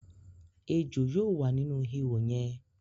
Èjò yóò wà nínú ìhò yẹ̀n